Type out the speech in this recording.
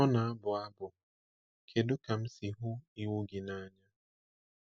O na-abụ abụ: Kedu ka m si hụ iwu gị n’anya!